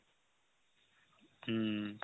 উম